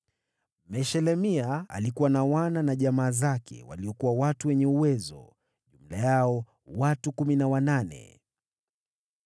Meshelemia alikuwa na wana na jamaa zake, waliokuwa watu wenye uwezo: jumla yao watu kumi na wanane.